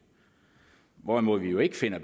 hvorimod vi jo ikke finder